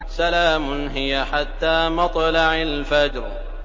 سَلَامٌ هِيَ حَتَّىٰ مَطْلَعِ الْفَجْرِ